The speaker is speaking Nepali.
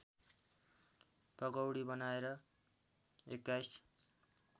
पकौडी बनाएर २१